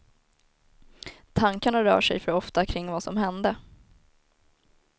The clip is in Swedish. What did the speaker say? Tankarna rör sig för ofta kring vad som hände.